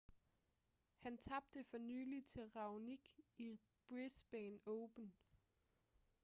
han tabte for nylig til raonic i brisbane open